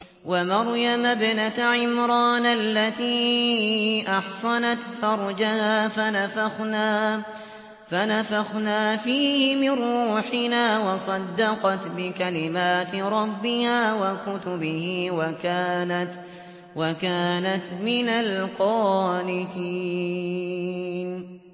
وَمَرْيَمَ ابْنَتَ عِمْرَانَ الَّتِي أَحْصَنَتْ فَرْجَهَا فَنَفَخْنَا فِيهِ مِن رُّوحِنَا وَصَدَّقَتْ بِكَلِمَاتِ رَبِّهَا وَكُتُبِهِ وَكَانَتْ مِنَ الْقَانِتِينَ